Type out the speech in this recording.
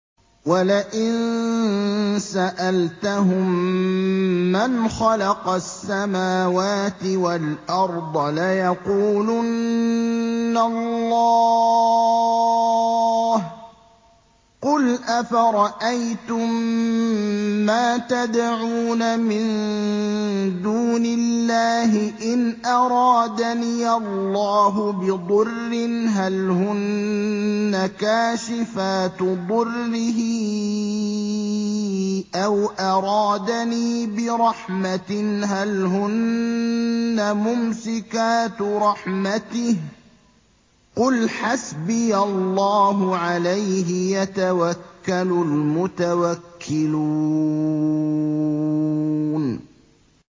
وَلَئِن سَأَلْتَهُم مَّنْ خَلَقَ السَّمَاوَاتِ وَالْأَرْضَ لَيَقُولُنَّ اللَّهُ ۚ قُلْ أَفَرَأَيْتُم مَّا تَدْعُونَ مِن دُونِ اللَّهِ إِنْ أَرَادَنِيَ اللَّهُ بِضُرٍّ هَلْ هُنَّ كَاشِفَاتُ ضُرِّهِ أَوْ أَرَادَنِي بِرَحْمَةٍ هَلْ هُنَّ مُمْسِكَاتُ رَحْمَتِهِ ۚ قُلْ حَسْبِيَ اللَّهُ ۖ عَلَيْهِ يَتَوَكَّلُ الْمُتَوَكِّلُونَ